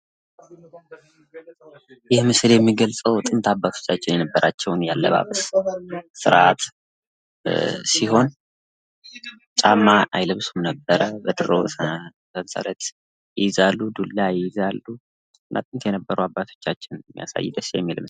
ይህ ምስል የሚገልጸው ጥንት አባቶቻችን የነበሩበትን የአለባበስ ስርአት የሚገልጽ ሲሆን ጫማ አይለብሱም ነበረ፣ ዱላ ይይዛሉ እና ደስ ይሉ ነበረ።